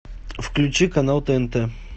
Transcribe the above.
включи канал тнт